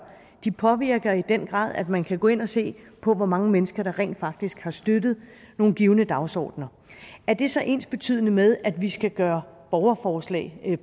de påvirker i den grad ved at man kan gå ind og se på hvor mange mennesker der rent faktisk har støttet nogle givne dagsordener er det så ensbetydende med at vi skal gøre borgerforslag